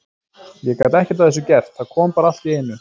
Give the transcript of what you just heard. Ég gat ekkert að þessu gert, það kom bara allt í einu.